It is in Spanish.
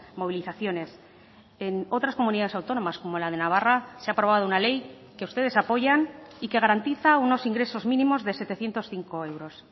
movilizaciones en otras comunidades autónomas como la de navarra se ha aprobado una ley que ustedes apoyan y que garantiza unos ingresos mínimos de setecientos cinco euros